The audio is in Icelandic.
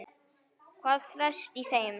Hvað felst í þeim?